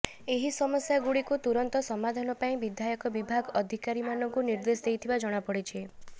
ଏହି ସମସ୍ୟା ଗୁଡିକୁ ତୁରନ୍ତ ସମାଧାନ ପାଇଁ ବିଧାୟକ ବିଭାଗ ଅଧିକାରି ମାନଙ୍କୁ ନିର୍ଦ୍ଦେଶ ଦେଇଥିବା ଜଣାପଡିଛି